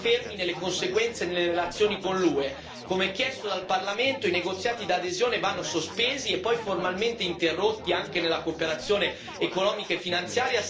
Come chiesto dal Parlamento, i negoziati d'adesione vanno sospesi e poi formalmente interrotti, anche nella cooperazione economica e finanziaria, se Erdogan proseguirà a distruggere lo Stato di diritto.